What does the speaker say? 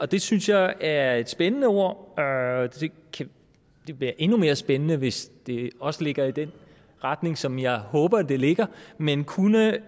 det synes jeg er et spændende ord og det bliver endnu mere spændende hvis det også ligger i den retning som jeg håber det ligger men kunne